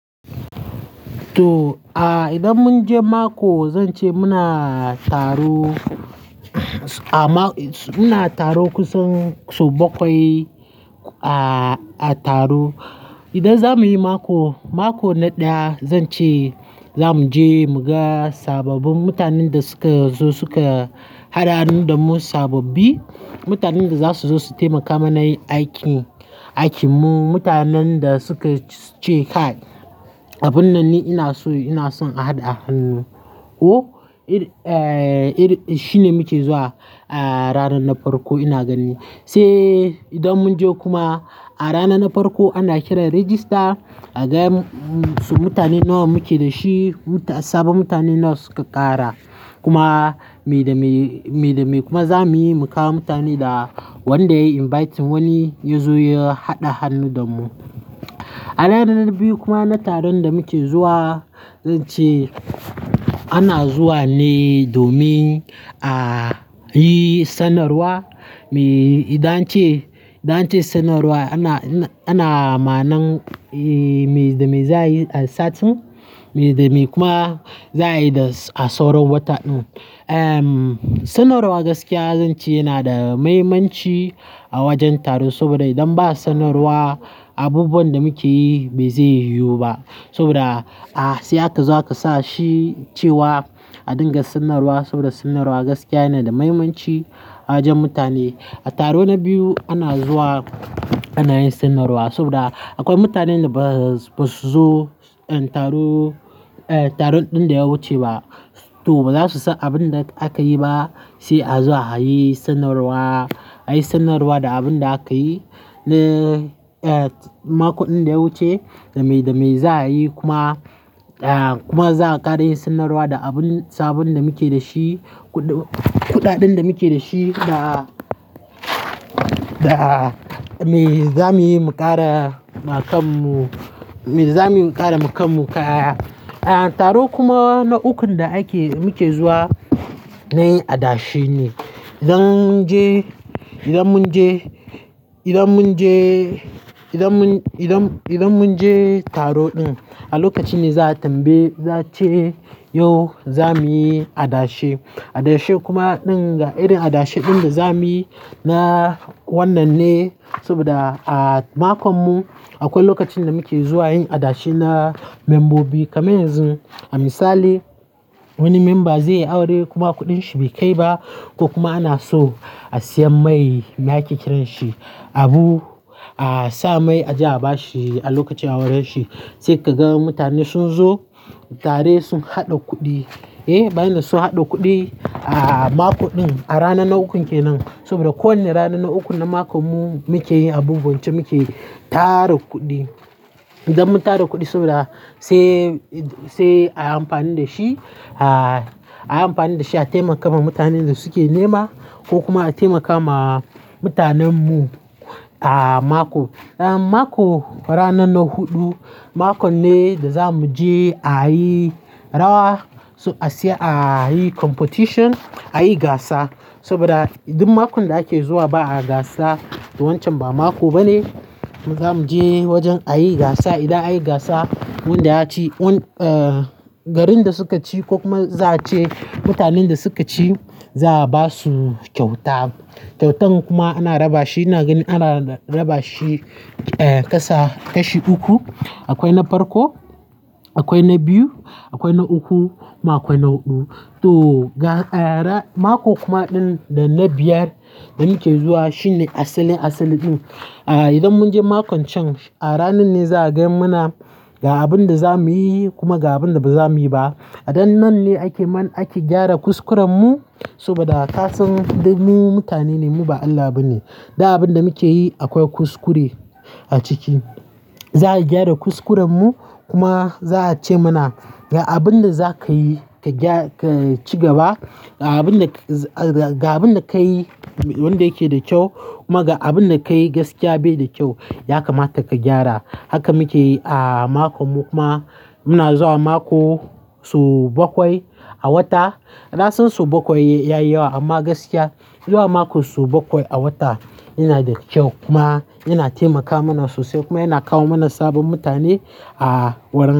To, a idan mun je mako zan ce muna taro a ma-- muna taro kusan sau bakwai a, a taro. Idan za mu yi mako, mako na ɗaya zan ce za mu je mu ga sababbin mutanen da suka zo, suka hada hannu da mu sababbi, mutanen da za su zo su taimaka mana yi aikin, aikin mu. Mutanen da suka ce kai abun nan ne ina so ina son a haɗa hannu. Ko, eh, shi ne muke zuwa a ranar na farko ina gani. Sai idan mun je kuma a rana na farko ana kiran register a ga su mutane nawa muke da shi. Wata-- sabon mutane nawa suka ƙara kuma me da me, me da me. Kuma za mu yi mu kama mutane da wanda ya yi inviting wani ya zo ya haɗa hannu da mu. A ranar biyu kuma na taron da muke zuwa zan ce ana zuwa ne domin a yi sanarwa. Me-- idan ce, idan ce sanarwa ana, ana ma'anan eh, me da me za a yi a satin. Me da me kuma za a yi da a sauran wata ɗin. Ehm, sanarwa gaskiya zan ce yana da mahimmanci a wajen taro saboda idan ba sanarwa abubuwan da muke yi bai zai yiwu ba. Saboda a sai haka za ka sa shi cewa a dinga sanarwa saboda sanarwa gaskiya yana da mahimmanci a wajen mutane. A taro na biyu ana zuwa ana yin sanarwa saboda akwai mutanen da ba su zo yin taro, eh, taron ɗin da ya wuce ba. To ba za su san abin da aka yi ba sai a zo a yi sanarwa. A yi sanarwa da abin da aka yi na, eh, makon ɗin da ya wuce, da me da me za a yi kuma, eh, kuma za a ƙara yin sanarwa da abun, sabon da muke da shi. Kuɗaɗen da muke da shi da, da me za mu yi mu ƙara makan mu. Me za mu ƙara makan mu kaya. A taro kuma na ukun da ake, muke zuwa na yin adashe ne. Idan mun je, idan mun je, idan mun je, idan mun, idan, idan mun je taro ɗin a lokaci ne za a tambaye, za a ce yau za mu yi adashe. Adashe kuma ɗin ga irin adashe ɗin da za a yi na wannan ne saboda a makon mu akwai lokacin da muke zuwa yin adashe na membobin kamar yanzu. A misali wani memba zai yi aure kuma kuɗin shi bai kai ba ko kuma ana so a siyan mai yake kiran shi abu, a sa mai ajiya, a bashi a lokacin aurensa shi. Sai ka ga mutane sun zo tare sun haɗo kuɗi. Eh, bani da sun haɗo kuɗi a mako ɗin a rana na ukun ke nan saboda ko wani rana na uku na makon mu muke yi abubuwan cewa muke tara kuɗi. Idan mun tara kuɗi saboda sai, sai a yi amfani da shi, a yi amfani da shi a taimakawa mutanen da suke nema ko kuma a taimakawa mutanen mu a mako. Mako rana na huɗu, mako ne da za mu je a yi rawa, su a siya, a yi competition, a yi gasa saboda duk makon da ake zuwa ba a gasa wancan ba mako bane. To za mu je wajen a yi gasa. Idan an yi gasa wanda ya ci, wanda, eh, garin da suka ci ko kuma za a ce mutanen da suka ci za a ba su kyauta. Kyautar kuma ana raba shi, ina gani ana raba shi, eh, ƙasa kashi uku. Akwai na farko, akwai na biyu, akwai na uku kuma akwai na huɗu. To, ga, eh, mako kuma ɗin da na biyar da muke zuwa shine asalin asali ɗin. Idan mun je makon can a ranan ne za a gaya mana ga abin da za mu yi kuma ga abin da ba za mu yi ba. A dan nan ne ake man-- ake gyara kuskuren mu saboda ka san da mu mutane ne mu ba Allah ba ne. Dan abin da muke yi akwai kuskure a ciki. Za a gyara kuskuren mu kuma za a ce mana ga abin da za ka yi ka gyara-- ka ci gaba. Ga abin da ka yi wanda yake da kyau kuma ga abin da ka yi gaskiya bai da kyau ya kamata ka gyara. Haka muke yi a makon mu kuma muna zuwa mako sau bakwai a wata. Ka san sau bakwai ya yi yawa amma gaskiya zuwa mako sau bakwai a wata yana da kyau kuma yana taimaka mana sosai kuma yana kawo mana sabon mutane a wajen.